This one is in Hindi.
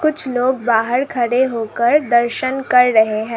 कुछ लोग बाहर खड़े होकर दर्शन कर रहे हैं।